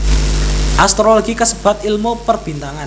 Astrologi kasebat ilmu Perbintangan